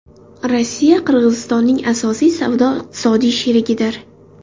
Rossiya Qirg‘izistonning asosiy savdo-iqtisodiy sherigidir.